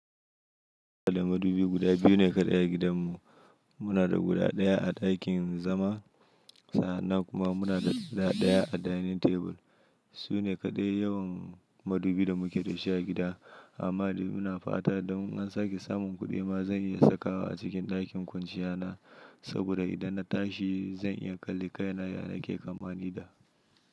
Da madubi guda biyu ne kaɗai a gidanmu. Muna da guda ɗaya a ɗakin zama, sa'an nan kuma muna da guda ɗaya a dining table. Su ne kaɗai yawan madubi da muke da shi a gida. Amma dai ina fata, don in an sake samun kuɗi ma, zan iya sakawa a cikin ɗakin kwanciyata. Saboda idan na tashi zan iya kalli kai na ya nake kamani da.